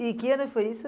E que ano foi isso?